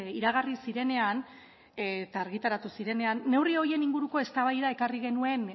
iragarri zirenean eta argitaratu zirenean neurri horien inguruko eztabaida ekarri genuen